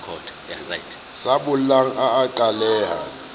sa bollang a a qhaleha